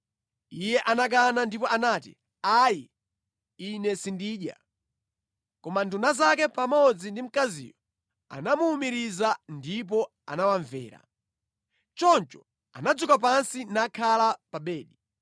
Iye anakana ndipo anati, “Ayi, ine sindidya.” Koma nduna zake pamodzi ndi mkaziyo anamuwumiriza, ndipo anawamvera. Choncho anadzuka pansi nakhala pa bedi.